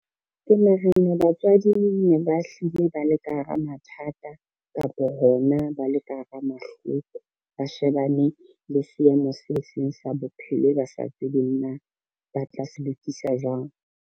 Ke nahana batswadi ne ba hlile ba le ka hara mathata kapa hona ba le ka hara mahloko, ba shebane le seemo se seng sa bophelo e ba sa tsebe na ba tla se lokisa jwang.